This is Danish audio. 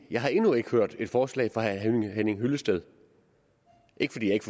jeg har endnu ikke hørt et forslag fra herre henning henning hyllested ikke fordi jeg ikke